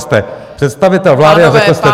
Jste představitel vlády a řekl jste to.